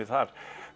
þar